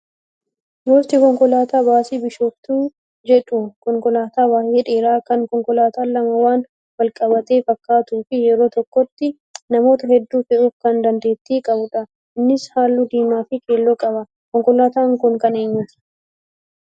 Gosti konkolaataa baasii bishootuu jedhu konkolaataa baay'ee dheeraa kan konkolaataan lama waan walqabate fakkaatuu fi yeroo tokkotti namoota hedduu fe'uuf kan dandeettii qabudha. Innis halluu diimaa fi keelloo qaba. Konkolaataan kun kan eenyuuti?